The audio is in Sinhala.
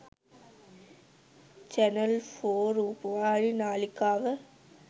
චැනල් ෆෝ රූපවාහිනි නාලිකාව